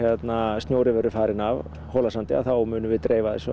snjórinn verður farinn af Hólasandi þá munum við dreifa þessu